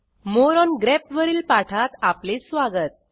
More on graph वरील पाठात आपले स्वागत